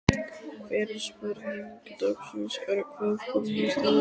Fyrri spurning dagsins er: Hvað kom mest á óvart?